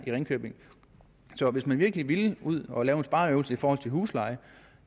ringkøbing så hvis man virkelig ville ud og lave en spareøvelse i forhold til huslejen